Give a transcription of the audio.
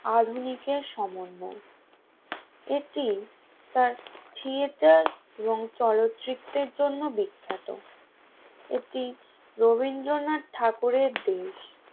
আধুনিক এর সমন্বয়ে একটি তার থিয়েটার এবং চলচ্চিত্রের জন্য বিখ্যাত একটি রবীন্দ্রনাথ ঠাকুরের দেশ